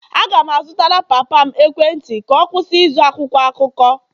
Aga m azụtara papa m ekwentị ka ọ kwụsị ịzụ akwụkwọ akụkọ